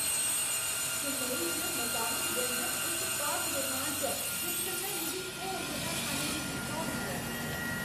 चेन्नई च मकामी व्यंजन इक पाक रोमांच ऐ जिस कन्नै मिगी होर मता खाने दी इच्छा होंदी ऐ।